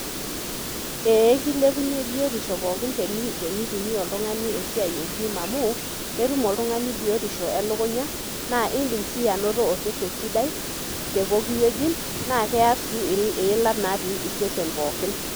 Ee keilepunye biotisho pookin tenitumia oltungani esiai e gym amu ketum oltungani biotisho elukunya na indim si ainoto osesen sidai tepuoki wueji na keya si iilat osesen pokin.